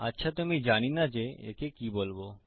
আচ্ছা তো আমি জানি না যে একে কি বলবো